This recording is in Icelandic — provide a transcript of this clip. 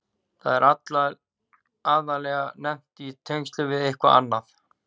Það er aðallega nefnt í tengslum við eitthvað annað.